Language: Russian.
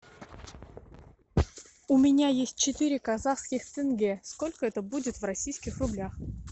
у меня есть четыре казахских тенге сколько это будет в российских рублях